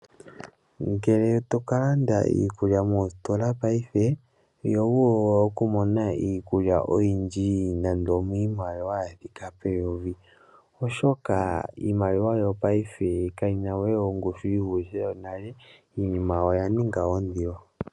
Ngele to ka landa iikulya mositola paife iho vulu okumona iikulya oyindji nande omiimaliwa ya thika peyovi oshoka iimaliwa yopaife kayina we ongushu yi vulithe yonale iinima oya ninga ondilo.